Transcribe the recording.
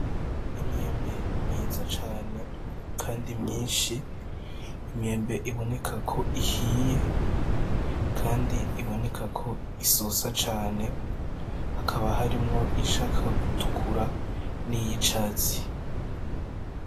Imyembe myiza cane kandi myinshi, imyembe iboneka ko ihiye, kandi iboneka ko isosa cane, hakaba harimwo iyishaka gutukura niy'icatsi.